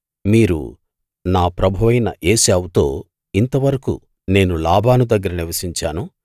మీరు నా ప్రభువైన ఏశావుతో ఇంతవరకూ నేను లాబాను దగ్గర నివసించాను